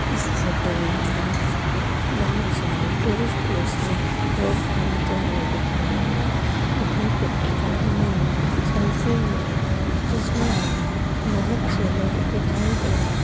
इस फोटो में हमें ए बहोत सारे टूरिस्ट प्लेस में लोग घूमते हुए दिख रहे हैं। वहीं पे एक आदमी ने सेल्फी ली है जिसमें हमें बोहोत से लोग दिखाई दे रहे।